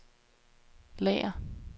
lager